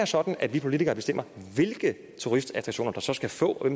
sådan at vi politikere bestemmer hvilke turistattraktioner der så skal få og